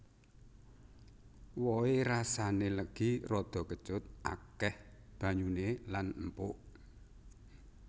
Wohe rasané legi rada kecut akéh banyuné lan empuk